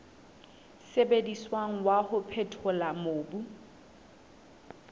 sebediswang wa ho phethola mobu